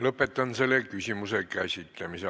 Lõpetan selle küsimuse käsitlemise.